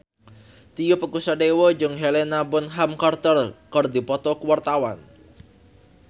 Tio Pakusadewo jeung Helena Bonham Carter keur dipoto ku wartawan